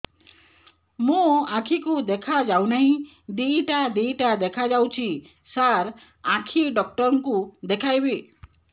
ମୋ ଆଖିକୁ ଦେଖା ଯାଉ ନାହିଁ ଦିଇଟା ଦିଇଟା ଦେଖା ଯାଉଛି ସାର୍ ଆଖି ଡକ୍ଟର କୁ ଦେଖାଇବି